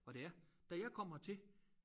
Og det er da jeg kom hertil